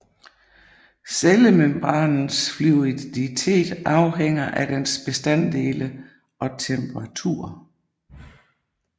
Cellemembranens fluiditet afhænger af dens bestanddele og temperatur